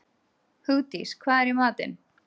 Hugdís, hvað er í matinn?